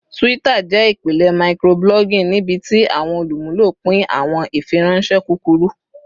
Twitter jẹ ipilẹ microblogging nibiti awọn olumulo pin awọn ifiranṣẹ kukuru